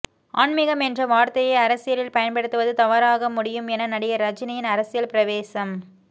ஆன்மீகம் என்ற வார்த்தையை அரசியலில் பயன்படுத்துவது தவறாக முடியும் என நடிகர் ரஜினியின் அரசியல் பிரவேசம